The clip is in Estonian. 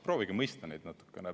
Proovige mõista neid natukene.